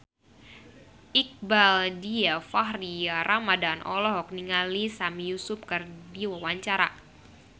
Iqbaal Dhiafakhri Ramadhan olohok ningali Sami Yusuf keur diwawancara